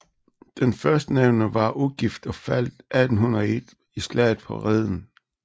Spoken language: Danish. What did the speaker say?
Den førstnævnte var ugift og faldt 1801 i slaget på Reden